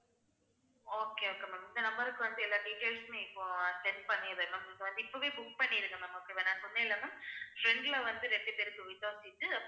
okay okay ma'am இந்த number க்கு வந்து எல்லா details உமே இப்போ send பண்ணிடறேன் ma'am இப்பவே book பண்ணிருங்க ma'am அப்புறம் நான் சொன்னேன்ல ma'am front ல வந்து ரெண்டு பேருக்கு window seat